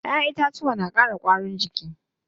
Ƴaƴen itacuwa na ƙara ƙwarin jiki.